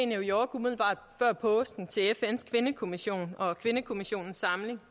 new york umiddelbart før påske til fns kvindekommission og kvindekommissionens samling